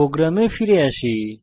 প্রোগ্রামে ফিরে আসি